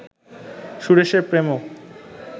সুরেশের প্রেমও